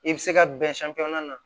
I bɛ se ka bɛn na